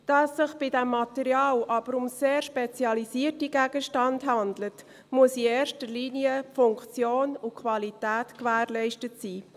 Da es sich bei diesem Material aber um sehr spezialisierte Gegenstände handelt, muss in erster Linie die Funktion und die Qualität gewährleistet sein.